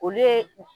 Olu ye